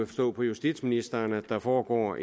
forstå på justitsministeren at der foregår